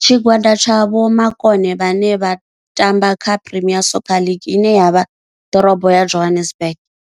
Tshigwada tsha vhomakone vhane vha tamba kha Premier Soccer League ine ya vha ḓorobo ya Johannesburg.